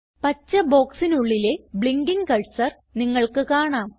പച്ച ബോക്സിനുള്ളിലെ blinking cursor നിങ്ങൾക്ക് കാണാം